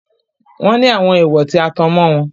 Wọ́n ní àwọn èèwọ̀ tí a tan mọ́ wọn.